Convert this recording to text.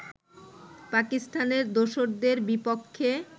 পাকিস্তানি দোসরদের বিপক্ষে